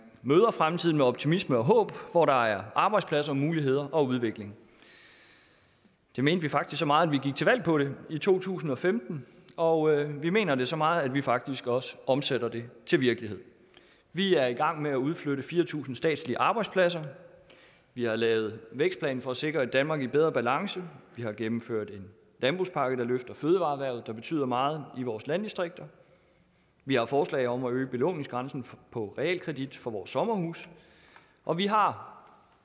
møder fremtiden med optimisme og håb hvor der er arbejdspladser og muligheder og udvikling det mente vi faktisk så meget at vi gik til valg på det i to tusind og femten og vi mener det så meget at vi faktisk også omsætter det til virkelighed vi er i gang med at udflytte fire tusind statslige arbejdspladser vi har lavet en vækstplan for at sikre et danmark i bedre balance vi har gennemført en landbrugspakke der løfter fødevareerhvervet som betyder meget i vores landdistrikter vi har forslag om at øge belåningsgrænsen på realkredit for vores sommerhuse og vi har